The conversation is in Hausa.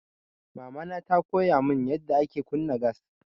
Mamana ta koya mun yanda ake kunna gas.